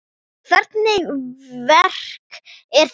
En hvernig verk er þetta?